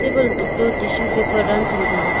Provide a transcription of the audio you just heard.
ble tok to tissue paper ran cham taiga.